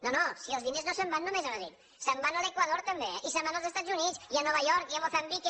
no no si els diners no se’n van només a madrid se’n van a l’equador també eh i se’n van als estats units i a nova york i a moçambic